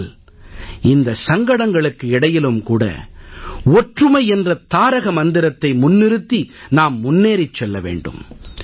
ஆனால் இந்த சங்கடங்களுக்கு இடையிலும் கூட ஒற்றுமை என்ற தாரக மந்திரத்தை முன்னிறுத்தி நாம் முன்னேறிச் செல்ல வேண்டும்